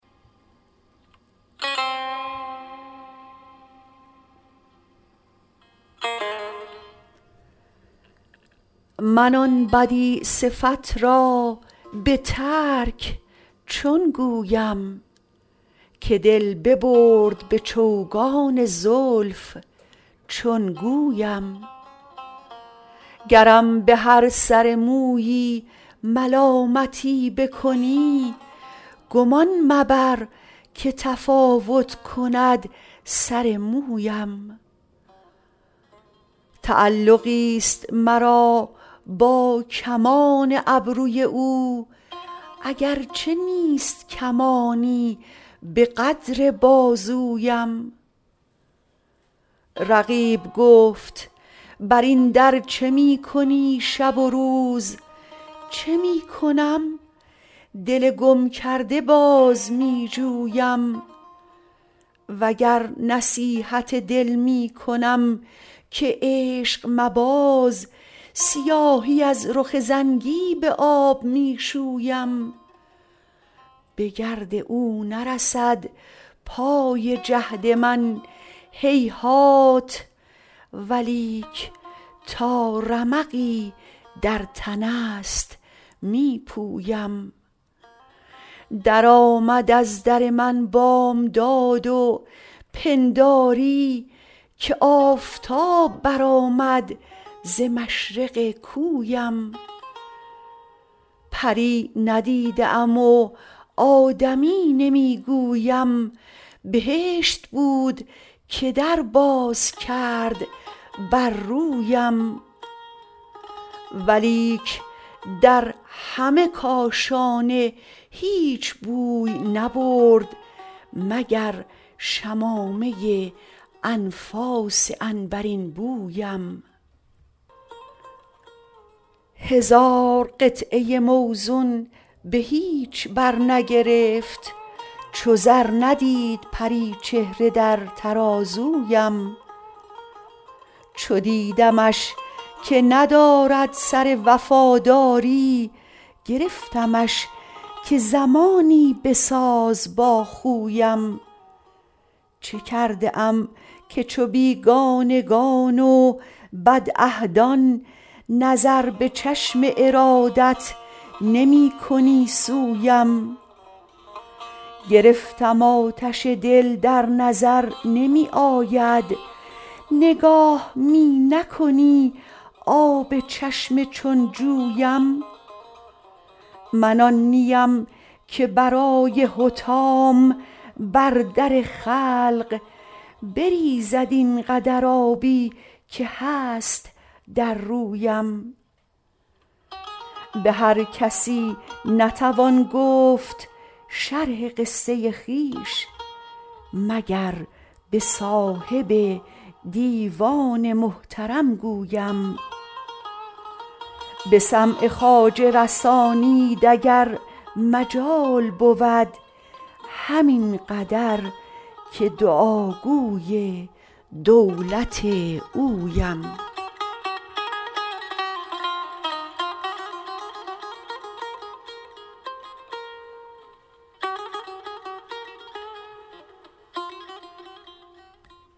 من آن بدیع صفت را به ترک چون گویم که دل ببرد به چوگان زلف چون گویم گرم به هر سر مویی ملامتی بکنی گمان مبر که تفاوت کند سر مویم تعلقی است مرا با کمان ابروی او اگرچه نیست کمانی به قدر بازویم رقیب گفت برین در چه می کنی شب و روز چه می کنم دل گم کرده باز می جویم وگر نصیحت دل می کنم که عشق مباز سیاهی از رخ زنگی به آب می شویم به گرد او نرسد پای جهد من هیهات ولیک تا رمقی در تنست می پویم درآمد از در من بامداد و پنداری که آفتاب برآمد ز مشرق کویم پری ندیده ام و آدمی نمی گویم بهشت بود که در باز کرد بر رویم ولیک در همه کاشانه هیچ بوی نبرد مگر شمامه انفاس عنبرین بویم هزار قطعه موزون به هیچ بر نگرفت چو زر ندید پریچهره در ترازویم چو دیدمش که ندارد سر وفاداری گرفتمش که زمانی بساز با خویم چه کرده ام که چو بیگانگان و بدعهدان نظر به چشم ارادت نمی کنی سویم گرفتم آتش دل در نظر نمی آید نگاه می نکنی آب چشم چون جویم من آن نیم که برای حطام بر در خلق بریزد اینقدر آبی که هست در رویم به هرکسی نتوان گفت شرح قصه خویش مگر به صاحب دیوان محترم گویم به سمع خواجه رسانید اگر مجال بود همین قدر که دعاگوی دولت اویم